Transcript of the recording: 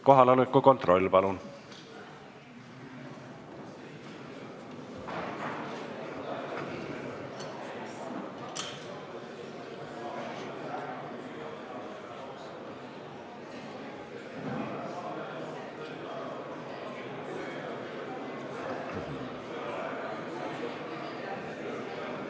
Kohaloleku kontroll, palun!